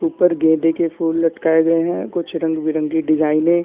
ऊपर गेंदे के फूल लटकाए गए है कुछ रंग-बेरंगी डिज़ाइने --